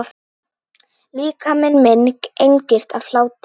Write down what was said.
Líkami minn engist af hlátri.